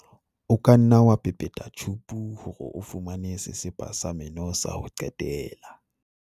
o ka nna wa pepeta tjhupu hore o fumane sesepa sa meno sa ho qetela